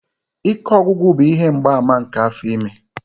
Ike ọgwụgwụ bụ ihe mgbaàmà nke afọ ime.